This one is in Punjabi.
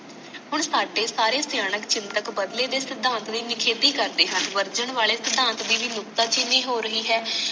ਹੁਣ ਸਾਡੇ ਸਾਰੇ ਸਯਾਨਕ ਚਿੰਤਕ ਬਦਲੇ ਦੀ ਸਿਧਾਂਤ ਦੀ ਨਖੇਦੀ ਕਰਦੇ ਹਨ ਬਦਲੇ ਵਾਲੇ ਸਿਧਾਂਤ ਦੀ ਮੁਕਤਾ ਚੀਨੀ ਹੋ ਰਹੀ ਹੈ